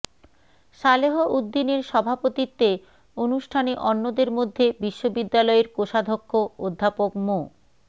সালেহ উদ্দিনের সভাপতিত্বে অনুষ্ঠানে অন্যদের মধ্যে বিশ্ববিদ্যালয়ের কোষাধ্যক্ষ অধ্যাপক মো